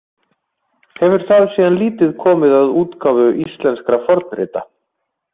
Hefur það síðan lítið komið að útgáfu íslenskra fornrita.